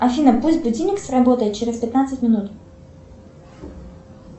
афина пусть будильник сработает через пятнадцать минут